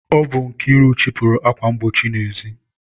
Ọ bụ Nkiru chịpụrụ akwa mgbochi n'ezi.